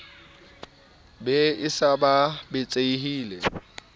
be a se a betsehile